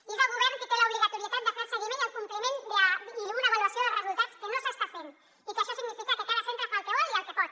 i és el govern qui té l’obligatorietat de fer el seguiment i el compliment i una avaluació dels resultats que no s’està fent i que això significa que cada centre fa el que vol i el que pot